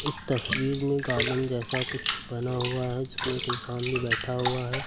इस तस्वीर में गार्डन जैसा कुछ बना हुआ है जिसमें एक इंसान भी बैठा हुआ है।